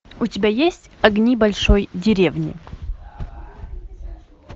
у тебя есть огни большой деревни